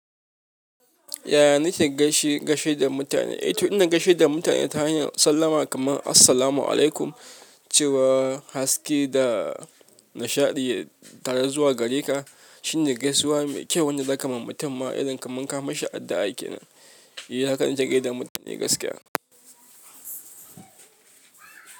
Yaya nike gaishe da mutane? E to ina gaishe da mutane ta hanyar sallama kaman "Assalamu alaikum". Cewa haske da nishaɗi tare zuwa gare ka shine gaisuwa mai kyau wanda zaka ma mutum ma idan kaman ka mashi addu'a kenan. Ni haka nake gaida mutane gaskiya.